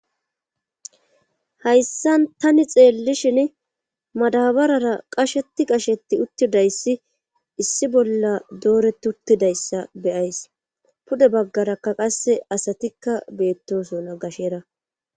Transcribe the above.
Hayssan tani xeellishin madabarara qasheti qashetti uttidayssi issi bolla doore tuttidayssa beyays pude baggarakka qasse asatikka beettosona gashera.